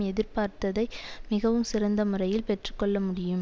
எதிர்பார்த்ததை மிகவும் சிறந்த முறையில் பெற்று கொள்ள முடியும்